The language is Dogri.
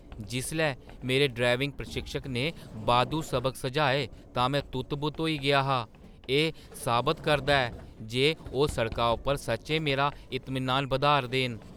जिसलै मेरे ड्राइविंग प्रशिक्षक ने बाद्धू सबक सुझाए तां में तुत्त-बुत्त होई गेआ हा। एह् साबत करदा ऐ जे ओह् सड़का उप्पर सच्चैं मेरा इतमीनान बधाऽ 'रदे न।